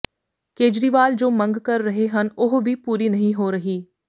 ਕੇਜਰੀਵਾਲ ਜੋ ਮੰਗ ਕਰ ਰਹੇ ਹਨ ਉਹ ਵੀ ਪੂਰੀ ਨਹੀ ਹੋ ਰਹੀ